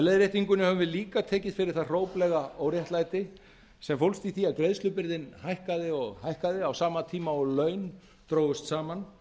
leiðréttingunni höfum við líka tekið fyrir það hróplega óréttlæti sem fólst í því að greiðslubyrðin hækkaði og hækkaði á sama tíma og laun drógust saman